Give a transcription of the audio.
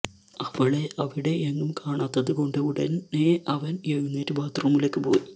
അവളെ അവിടെ എങ്ങും കാണാത്തത് കൊണ്ട് ഉടനെ അവന് എഴുന്നേറ്റു ബാത്ത് റൂമിലേക്ക് പോയി